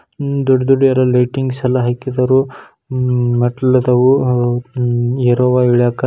ಉಹ್ ದೊಡ್ ದೊಡ್ ಯಾರೊ ಲೈಟಿಂಗ್ಸ್ ಎಲ್ಲ ಹಾಕಿದಾರೊ. ಉಮ್ ಮೆಟ್ಲ್ ಇದಾವೋ ಉಹ್ ಏರೋವಾ ಇಳಿಯಾಕ--